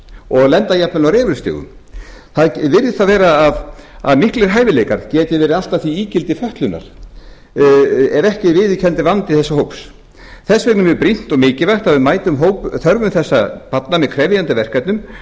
og lenda jafnvel á refilstigum það virðist þá vera að miklir hæfileikar geti verið allt að því ígildi fötlunar ef ekki er viðurkenndur vandi þessa hóps þess vegna er mjög brýnt og mikilvægt að við mætum þörfum þessara barna með krefjandi verkefnum